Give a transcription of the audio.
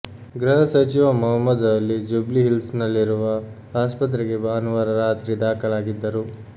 ಗೃಹ ಸಚಿವ ಮಹಮೂದ್ ಅಲಿ ಜ್ಯುಬ್ಲಿ ಹಿಲ್ಸ್ನಲ್ಲಿರುವ ಆಸ್ಪತ್ರೆಗೆ ಭಾನುವಾರ ರಾತ್ರಿ ದಾಖಲಾಗಿದ್ದರು